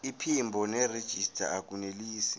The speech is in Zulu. iphimbo nerejista akunelisi